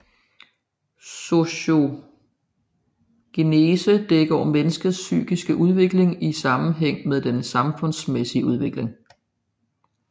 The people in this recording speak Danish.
Sociogenese dækker over menneskets psykiske udvikling i sammenhæng med den samfundsmæssige udvikling